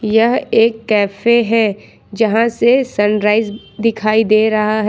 यह एक कैफे है जहां से सनराइज दिखाई दे रहा है।